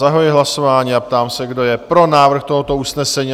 Zahajuji hlasování a ptám se, kdo je pro návrh tohoto usnesení?